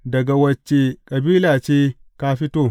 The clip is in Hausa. Daga wacce kabila ce ka fito?